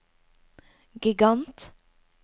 gigant